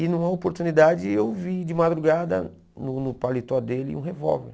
E numa oportunidade eu vi de madrugada no no paletó dele um revólver.